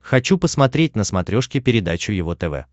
хочу посмотреть на смотрешке передачу его тв